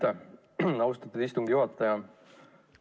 Aitäh, austatud istungi juhataja!